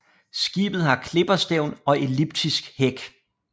Skibet har klipperstævn og elliptisk hæk